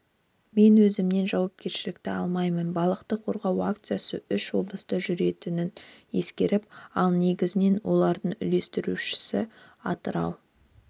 мен өзімнен жауапкершілікті алмаймын балықты қорғау акциясы үш облыста жүретінін ескеріп ал негізінен оларды үйлестіруші атырау